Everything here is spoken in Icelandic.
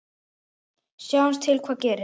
Sjáum til hvað gerist.